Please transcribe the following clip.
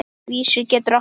Vísir getur átt við